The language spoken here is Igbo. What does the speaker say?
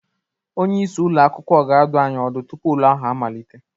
Onye isi ụlọ akwụkwọ ga-adụ anyị ọdụ tupu ule ahụ amalite